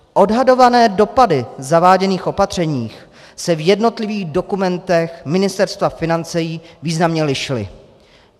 Odhadované dopady zaváděných opatření se v jednotlivých dokumentech Ministerstva financí významně lišily.